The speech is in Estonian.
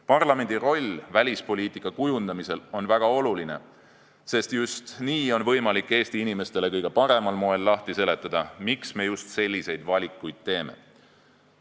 Parlamendi roll välispoliitika kujundamisel on väga oluline, sest nii on võimalik Eesti inimestele kõige paremal moel lahti seletada, miks me just selliseid valikuid teeme.